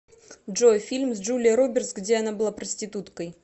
джой фильм с джулией робертс где она была проституткой